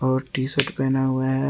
और T shirt पहना हुआ है।